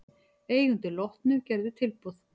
Eigendur Lotnu gerðu tilboð